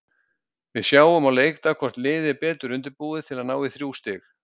Við sjáum á leikdag hvort liðið er betur undirbúið til að ná í þrjú stig.